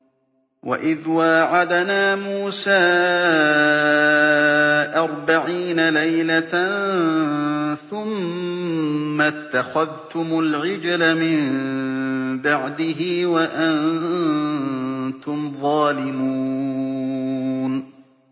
وَإِذْ وَاعَدْنَا مُوسَىٰ أَرْبَعِينَ لَيْلَةً ثُمَّ اتَّخَذْتُمُ الْعِجْلَ مِن بَعْدِهِ وَأَنتُمْ ظَالِمُونَ